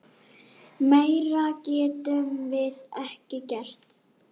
Meira getum við ekki gert.